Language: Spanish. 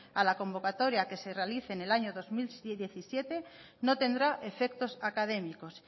a la convocatoria que se realice en el año dos mil diecisiete no tendrá efectos académicos